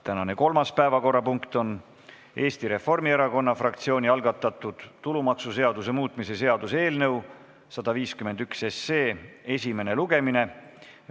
Tänane kolmas päevakorrapunkt on Eesti Reformierakonna fraktsiooni algatatud tulumaksuseaduse muutmise seaduse eelnõu 151 esimene lugemine.